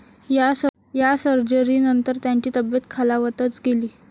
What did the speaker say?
या सर्जरीनंतर त्यांची तब्येत खालावतच गेली.